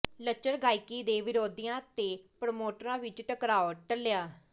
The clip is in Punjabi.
ਲੱਚਰ ਗਾਇਕੀ ਦੇ ਵਿਰੋਧੀਆਂ ਤੇ ਪ੍ਰੋਮੋਟਰਾਂ ਵਿੱਚ ਟਕਰਾਅ ਟਲ਼ਿਆ